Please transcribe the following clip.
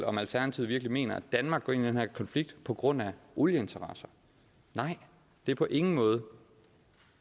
om alternativet virkelig mener at danmark går ind i den her konflikt på grund af olieinteresser nej det er på ingen måde